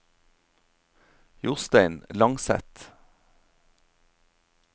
Jostein Langseth